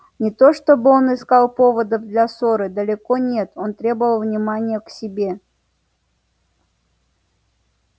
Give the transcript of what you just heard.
не то чтобы он искал поводов для ссоры далеко нет он требовал внимания к себе